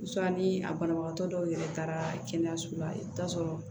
ni a banabagatɔ dɔw yɛrɛ taara kɛnɛyaso la i bɛ taa sɔrɔ